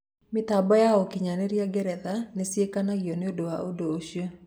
Mĩtambo ya ũkinyanĩria Ngeretha nĩ ciakenagio nĩ ũndũ ũcio.